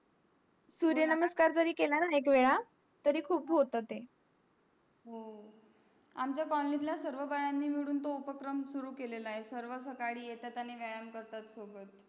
सूर्यनमस्कार जरी केला ना एक वेळा तरी खूप होता ते हो आमच्या colony तल्या सर्व बायांनी मिळून तो उपक्रम सुरु केलेला आहे सर्व सकाळी येतात आणि व्यायाम करतात सोबत.